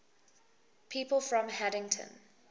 people from haddington